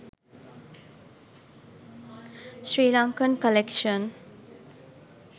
srilankan collection